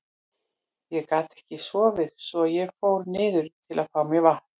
Ég gat ekki sofið svo að ég fór niður til að fá mér vatn.